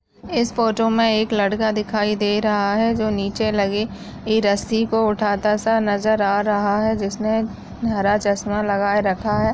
इस फोटो मे एक लड़का दिखाई दे रहा है जो नीचे लगी रस्सी को उठाता सा नजर आ रहा है जिसने हरा चश्मा लगाए रखा है।